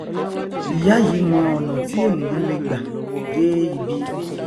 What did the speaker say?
ìyá yìí mọ ọnà tí ènìà lè gbà dé ibi